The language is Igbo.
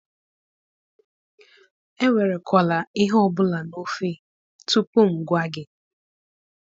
Enwere kwala ihe obula n'ofe tupu mụ gea gị